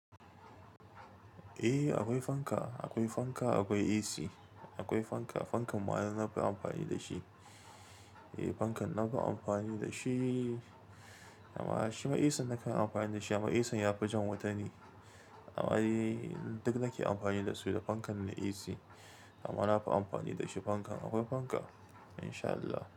Eh akwai fanka, akwai fanka, akwai AC. Akwai fanka, fankan ma na fi amfani da shi. Eh fankan na fi amfani da shi, amma shi ma ac na kan amfani da shi amma ac ya fi jan wuta ne. Amma eh duk nake amfani da su da fankan da AC. Amma na fi amfani da shi fankan. Akwai fanka in sha Allah.